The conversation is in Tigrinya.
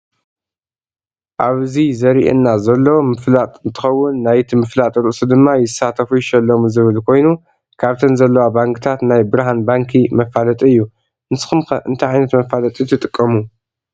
ኣብዚ ዘሪኣና ሎዘሎ ምፍላጥ እንትከውን ናይቲ ምፍላጥ ርእሱ ድማ ይሳተፉ ይሸለሙ ዝብል ኮይኑ ካብተን ዘለዋ ባንኪታት ናይ ብርሃን ባንኪ መፋለጢ እዩ። ንስኩም ከ እንታይ ዓይነት መፋለጢ ትጥቀሙ?